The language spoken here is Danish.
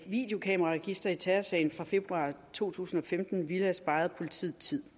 videokameraregister i terrorsagen fra februar to tusind og femten ville have sparet politiet tid